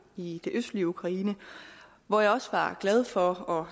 i det østlige ukraine hvor jeg også var glad for og